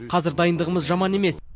қазір дайындығымыз жаман емес